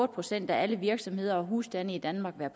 procent af alle virksomheder og husstande i danmark være